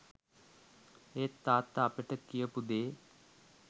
ඒත් තාත්තා අපිට කියපු දේ